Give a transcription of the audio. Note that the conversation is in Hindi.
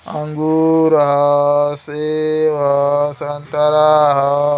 अंगूर ह सेव ह संतरा ह।